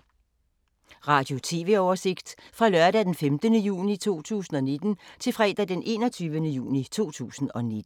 Radio/TV oversigt fra lørdag d. 15. juni 2019 til fredag d. 21. juni 2019